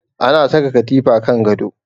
Ana saka katifa kan gado